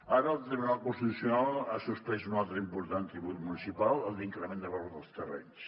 ara el tribunal constitucional ha suspès un altre important tribut municipal el d’increment de valor dels terrenys